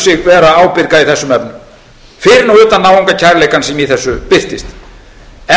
sig vera ábyrga í þessum efnum fyrir nú utan náungakærleikann sem í þessu birtist